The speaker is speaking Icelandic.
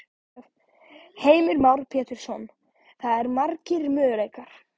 Heimir Már Pétursson: Það eru margir möguleikar?